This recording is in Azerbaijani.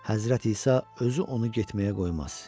Həzrət İsa özü onu getməyə qoymaz.